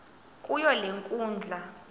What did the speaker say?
kuyo le nkundla